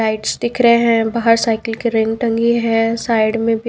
lights दिख रहे हैं बाहर साइकिल के रिंग टंगी है साइड में भी--